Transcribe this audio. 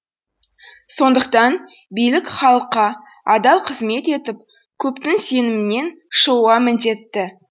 сондықтан билік халыққа адал қызмет етіп көптің сенімінен шығуға міндетті